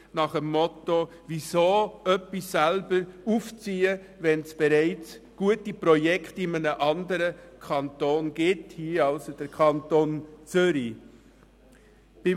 Sie entspricht dem Motto: Weshalb selber etwas aufziehen, wenn es in einem anderen Kanton, hier also im Kanton Zürich, bereits gute Projekte gibt?